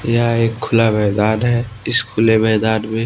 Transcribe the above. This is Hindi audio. यह एक खुला मैदान है इस खुले मैदान में--